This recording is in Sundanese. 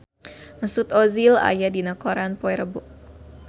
Mesut Ozil aya dina koran poe Rebo